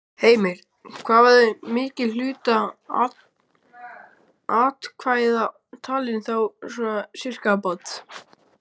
Heimir: Hvað verður mikill hluti atkvæða talinn, þá svona sirkabát?